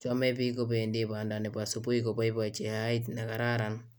Chomei biik kobendii banda ne bo subui koboibochi heait nekararan.